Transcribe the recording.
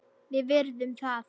Við virðum það.